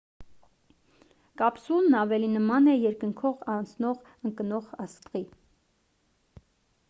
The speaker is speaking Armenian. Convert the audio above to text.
կապսուլն ավելի նման է երկնքով անցնող ընկնող աստղի